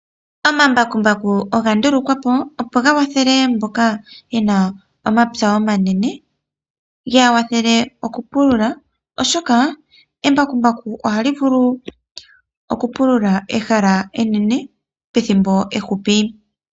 Omambakumbaku oga ndulukwa po, opo ga kwathele mboka ye na omapya omanene, ge ya kwathele okupulula, oshoka embakumbaku ohali vulu okupulula ehala enene pethimbo efupi.